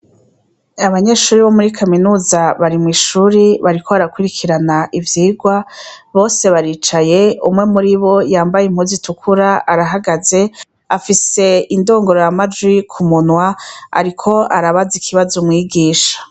Abanyeshuri bo muri kaminuza bari mw'ishuri bariko barakwirikirana ivyirwa bose baricaye umwe muribo yambaye impuzu itukura arahagaze afise indongorora majwi ku munwa ariko arabaza ikibazo mwigisha.